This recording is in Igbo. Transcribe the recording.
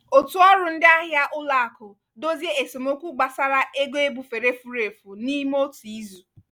òtù ọrụ ndị ahịa ụlọ akụ dozie esemokwu gbasara ego ebufere furu efu n'ime otu izu.